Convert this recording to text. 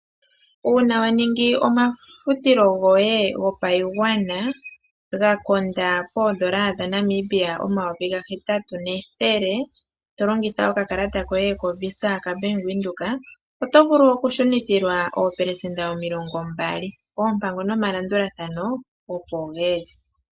Uuna wa ningi omafutilo goye gopashigwana ga konda poondola dha Namibia oondola omayovi ga hetatu nethele to longitha oka kalata koye ko visa ka Bank Windhoek oto vulu oku shunithilwa oopelesenda omilongo mbali. Oompango noma landulathano opo dhili.